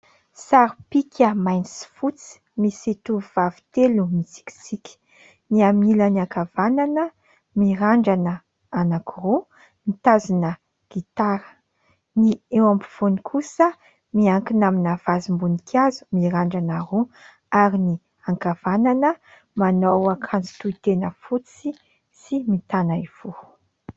Sary pika mainty sy fotsy, misy tovovavy telo mitsikitsiky. Ny amin'ny ilany ankavanana mirandrana anankiroa, mitazona gitara. Ny eo ampovoany kosa miankina amina vazim-boninkazo, mirandrana roa ary ny ankavanana manao akanjo tohitena fotsy, sy mitanaivoho.